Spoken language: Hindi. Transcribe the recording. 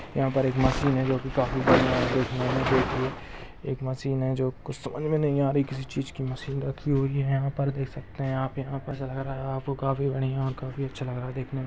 यहाँ पर एक मशीन है जो की काफी बढ़िया है एक मशीन है कुछ समझ में नहीं आ रहा है किस चीज की मशीन रखी हुई हैंयहाँ पर देख सकते हैं आपको काफी बढ़िया काफीअच्छा लग रहा देखने--